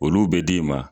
Olu bɛ d'i ma